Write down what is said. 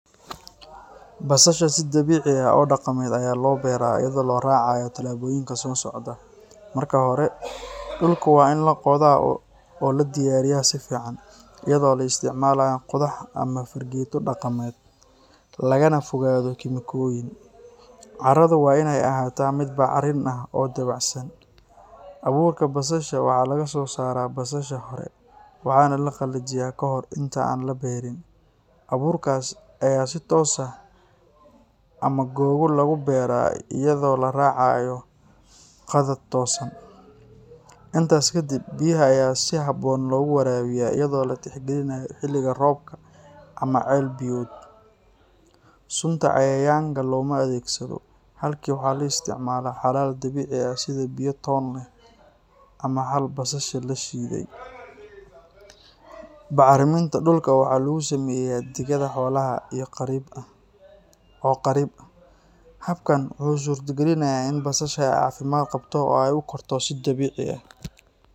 Basasha si dabiici ah oo dhaqameed ayaa loo beeraa iyadoo la raacayo tallaabooyinka soo socda. Marka hore, dhulku waa in la qoda oo loo diyaariyaa si fiican, iyadoo la isticmaalayo qodax ama fargeeto dhaqameed, lagana fogaado kiimikooyin. Carradu waa in ay ahaataa mid bacrin ah oo dabacsan. Abuurka basasha waxaa laga soo saaraa basasha hore, waxaana la qalajiyaa ka hor inta aan la beerin. Abuurkaas ayaa si toos ah ama googo' lagu beeraa iyadoo la raacayo khadad toosan. Intaas ka dib, biyaha ayaa si habboon loogu waraabiyaa iyadoo la tixgelinayo xilliga roobka ama ceel-biyood. Sunta cayayaanka looma adeegsado, halkii waxaa la isticmaalaa xalal dabiici ah sida biyo toon leh ama xal basasha la shiiday. Bacriminta dhulka waxaa lagu sameeyaa digada xoolaha oo qariib ah. Habkan wuxuu suurtagelinayaa in basasha ay caafimaad qabto oo ay u korto si dabiici ah.